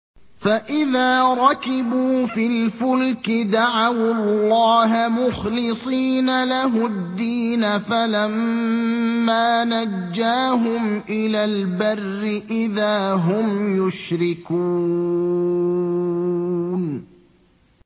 فَإِذَا رَكِبُوا فِي الْفُلْكِ دَعَوُا اللَّهَ مُخْلِصِينَ لَهُ الدِّينَ فَلَمَّا نَجَّاهُمْ إِلَى الْبَرِّ إِذَا هُمْ يُشْرِكُونَ